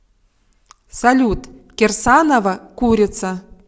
салют кирсанова курица